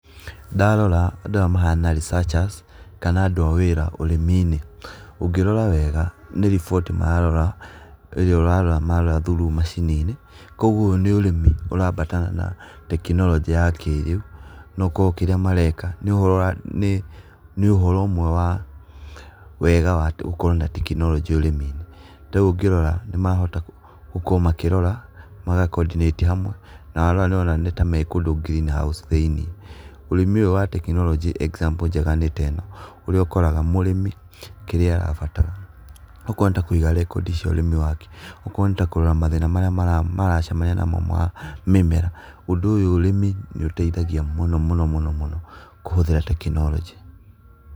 Ndarora andũ aya mahana researchers kana andũ a wĩra ũrĩmi-inĩ, ũngĩrora wega nĩ riboti mararora ĩrĩa ũrarora marora through macini-inĩ. Koguo ũyũ nĩ ũrĩmi ũraabatana na tekinoronjĩ ya kĩrĩu, no korwo kĩmwe mareka nĩ ũhoro ũmwe wa wega wa gũkorwo na tekinoronjĩ ũrĩmi-inĩ. Tarĩu ũngĩrora nĩ marahota gũkorwo makĩrora na magakondinĩti hamwe na warora nĩ ta mekũndũ green house thĩinĩ. Ũrĩmi ũyũ wa tekinoronjĩ example njega nĩ ta ĩno ĩrĩa ũkoraga mũrĩmi kĩrĩa abatara okorwo nĩ ta kũiga rekondi cia ũrĩmi wake, okorwo nĩ ta kũrora mathĩna marĩa maracemania namo ma mĩmera, ũndũ ũyũ ũrĩmi nĩ ũteithagia mũno mũno mũno kũhũthĩra tekinoronjĩ.